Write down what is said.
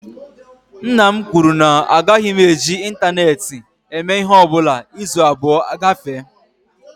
Nna m kwuru na agaghị m eji ịntaneetị eme ịhe ọbụla izu abụọ agafee